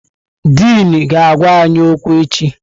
Dịn ga-agwa anyị okwu echi.